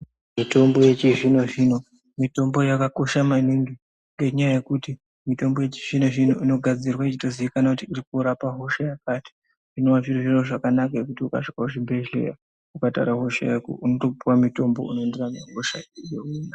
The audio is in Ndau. Mutombo yechizvino zvino mitombo yakakosha maningi ngenyaya yekuti mitombo yechizvino zvino inogadzirwa yechitozikanwa kuti iri korapa hosha yakati zvinova zviri zviro zvakanaka zvekuti ukasvika kuchibhedhleya ukataura hosha yako unotopuwa mutombo unoenderana nehosha iyona.